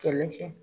Kɛlɛ kɛ